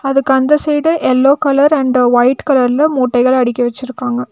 அதுக்கு அந்த side yellow colour and white கலர்ல மூட்டைகள் அடிக்கி வச்சுருக்காங்க.